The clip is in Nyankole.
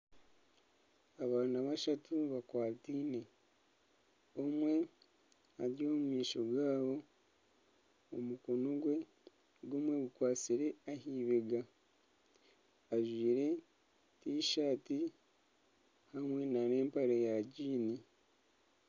Abaana bashatu bakwataine omwe ari omu maisho gaabo omukono gwe gumwe gukwatsire ah'ibega ajwaire tishati hamwe na n'empare ya giini.